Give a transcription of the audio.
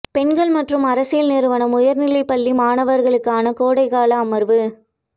பெண்கள் மற்றும் அரசியல் நிறுவனம் உயர்நிலைப் பள்ளி மாணவர்களுக்கான கோடைக்கால அமர்வு